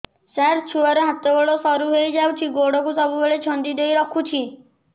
ସାର ଛୁଆର ହାତ ଗୋଡ ସରୁ ହେଇ ଯାଉଛି ଗୋଡ କୁ ସବୁବେଳେ ଛନ୍ଦିଦେଇ ରଖୁଛି